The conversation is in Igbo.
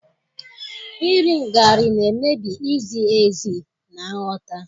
iri ngarị na-emebi izi ezi na nghọta.